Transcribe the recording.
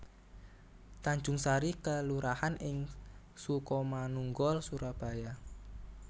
Tanjungsari kelurahan ing Sukomanunggal Surabaya